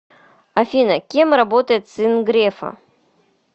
афина кем работает сын грефа